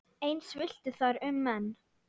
Eins villti þar um menn.